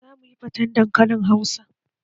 Za mu yi faten dankalin Hausa